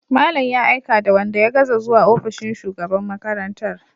Malam ya aika da wanda ya gaza zuwa ofishin shugaban makarantar.